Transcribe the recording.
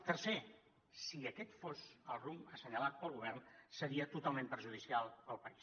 tercer si aquest fos el rumb assenyalat pel govern seria totalment perjudicial per al país